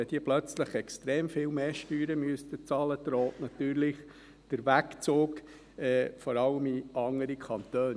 Wenn sie plötzlich extrem viel mehr Steuern bezahlen müssten, drohte natürlich der Wegzug, vor allem in andere Kantone.